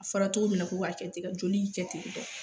A fɔra cogo min na ko k'a kɛ ten ka joli kɛ ten tɔ